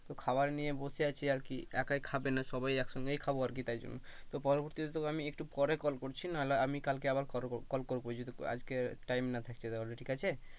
তো খাবার নিয়ে বসে আছে আর কি একাই খাবে না সবাই একসঙ্গেই খাবো আরকি তারজন্য, তো পরবর্তীতে তোকে আমি একটু পরে কল করছি নাহলে আমি কালকে আবার কল করবো যদি আজকে time না থাকছে তাহলে ঠিক আছে?